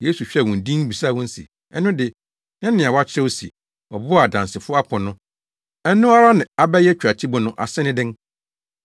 Yesu hwɛɛ wɔn dinn bisaa wɔn se, “Ɛno de, na nea wɔakyerɛw se, “ ‘Ɔbo a adansifo apo no, ɛno ara na abɛyɛ tweatibo’ no ase ne dɛn?